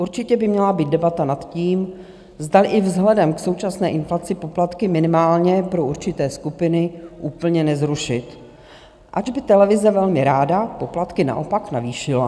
Určitě by měla být debata nad tím, zdali i vzhledem k současné inflaci poplatky minimálně pro určité skupiny úplně nezrušit, ač by televize velmi ráda poplatky naopak navýšila.